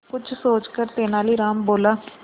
कुछ सोचकर तेनालीराम बोला